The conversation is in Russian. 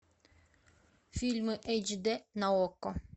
фильмы эйч дэ на окко